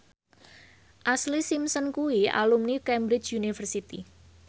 Ashlee Simpson kuwi alumni Cambridge University